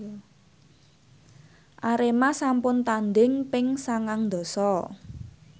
Arema sampun tandhing ping sangang dasa